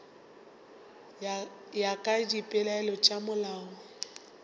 ya ka dipeelano tša molao